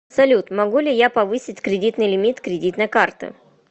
салют могу ли я повысить кредитный лимит кредитной карты